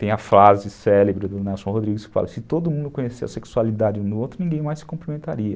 Tem a frase célebre do Nelson Rodrigues que fala, se todo mundo conhecesse a sexualidade um do outro, ninguém mais se cumprimentaria.